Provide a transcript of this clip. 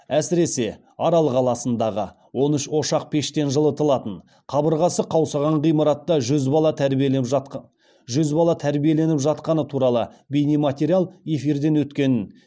әсіресе арал қаласындағы он үш ошақ пештен жылытылатын қабырғасы қаусаған ғимаратта жүз бала тәрбиеленіп жатқаны туралы бейнематериал эфирден өткен